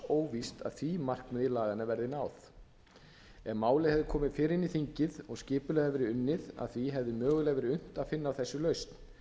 óvíst að því markmiði laganna verði náð ef málið hefði komið fyrr inn í þingið og skipulegar hefði verið unnið að því hefði mögulega verið unnt að finna á þessu lausn